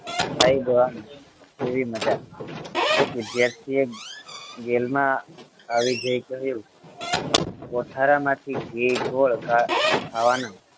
ખાઈ જવાનું કેવી મજા એક વિદ્યાર્થીએ જેલમાં આવી જઈ કહ્યું કોઠારામાંથી ઘી ગોળ ખાવા ખાવાના